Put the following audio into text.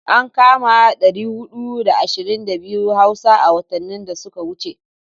An kama 422 Hausa a watannin da suka wuce.